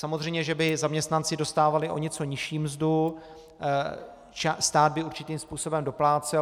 Samozřejmě, že by zaměstnanci dostávali o něco nižší mzdu, stát by určitým způsobem doplácel.